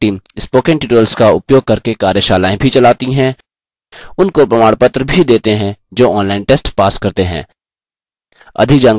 spoken tutorial project team spoken tutorials का उपयोग करके कार्यशालाएँ भी चलाती हैं उनको प्रमाणपत्र भी देते हैं जो online test pass करते हैं